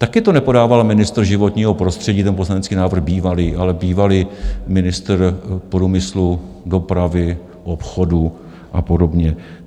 Taky to nepodával ministr životního prostředí, ten poslanecký návrh bývalý, ale bývalý ministr průmyslu, dopravy, obchodu a podobně.